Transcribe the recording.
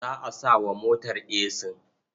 Za a sa wa motar esin?